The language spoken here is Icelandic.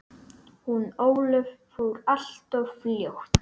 Hún Ólöf fór alltof fljótt.